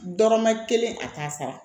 Dɔrɔmɛ kelen a t'a sara